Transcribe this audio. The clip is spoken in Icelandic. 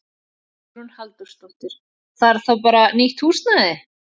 Hugrún Halldórsdóttir: Þarf þá bara nýtt húsnæði?